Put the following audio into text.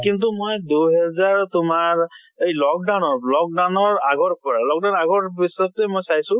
কিন্তু মই দুই হেজাৰ তোমাৰ এই lockdown ৰ lockdown ৰ আগৰ পৰা lockdown আগৰ পিছতে মই চোইছো